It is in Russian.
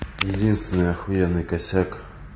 единственный ахуенный косяк